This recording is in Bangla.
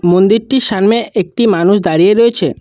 মন্দিরটির সামনে একটি মানুষ দাঁড়িয়ে রয়েছে।